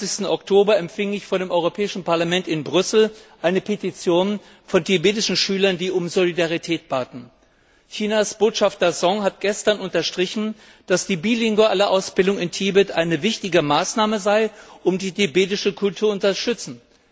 27. Oktober empfing ich vor dem Europäischen Parlament in Brüssel eine Petition von tibetischen Schülern, die um Solidarität baten. Chinas Botschafter Song hat gestern unterstrichen, dass die bilinguale Ausbildung in Tibet eine wichtige Maßnahme sei, um die tibetische Kultur zu unterstützen.